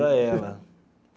Para ela.